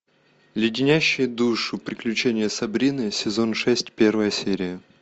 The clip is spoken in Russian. леденящие душу приключения сабрины сезон шесть первая серия